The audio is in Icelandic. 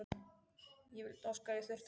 Ég vildi óska að ég þyrfti ekki að fara.